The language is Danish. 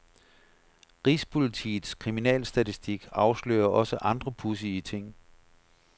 Rigspolitiets kriminalstatistik afslører også andre pudsige ting.